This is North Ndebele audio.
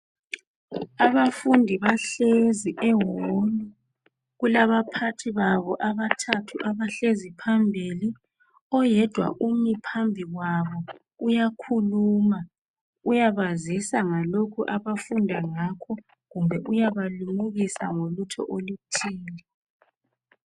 Abafundi bahlezi ehall kulabaphathi babo abathathu abahlezi phambili oyedwa umi phambi kwabo uyakhuluma uyabazisa ngalokhu abafunda ngakho kumbe uyabalimukisa ngolutho oluthile.